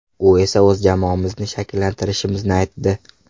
U esa o‘z jamoamizni shakllantirishimizni aytdi.